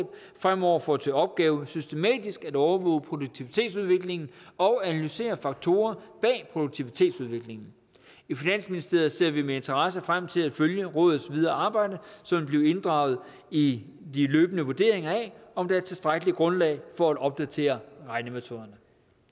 fremover får til opgave systematisk at overvåge produktivitetsudviklingen og analysere faktorer bag produktivitetsudviklingen i finansministeriet ser vi med interesse frem til at følge rådets videre arbejde som vil blive inddraget i de løbende vurderinger af om der er tilstrækkeligt grundlag for at opdatere regnemetoderne